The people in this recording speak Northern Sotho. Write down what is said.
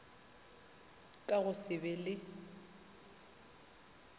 ka go se be le